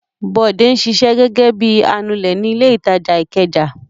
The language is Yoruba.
Bọ̀dé ń ṣiṣẹ́ gẹ́gẹ́ bí i anulẹ̀ ní ilé-ìtajà Ìkẹjà.